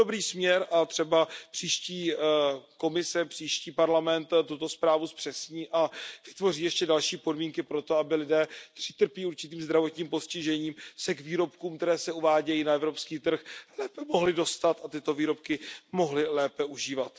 Je to dobrý směr a třeba příští Evropská komise, příští Evropský parlament tuto zprávu zpřesní a vytvoří ještě další podmínky pro to, aby lidé, kteří trpí určitým zdravotním postižením, se k výrobkům, které se uvádějí na evropský trh, mohli lépe dostat a tyto výrobky mohli lépe užívat.